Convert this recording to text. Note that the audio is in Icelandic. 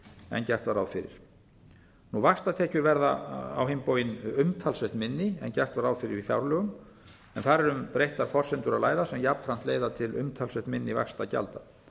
en gert var ráð fyrir vaxtatekjur verða á hinn bóginn umtalsvert minni en gert var ráð fyrir í fjárlögum en þar er um að ræða breyttar forsendur sem jafnframt leiða til umtalsvert minni vaxtagjalda